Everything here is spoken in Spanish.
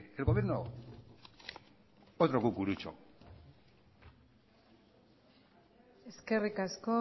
el gobierno otro cucurucho eskerrik asko